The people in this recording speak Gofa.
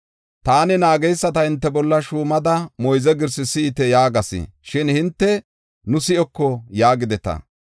Taani naageysata hinte bolla shuumada, “Moyze girsaa si7ite” yaagas. Shin hinte, “Nu si7oko” yaagideta.